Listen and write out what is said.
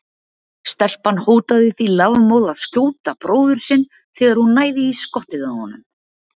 Stelpan hótaði því lafmóð að skjóta bróður sinn þegar hún næði í skottið á honum.